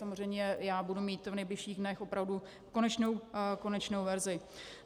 Samozřejmě já budu mít v nejbližších dnech opravdu konečnou verzi.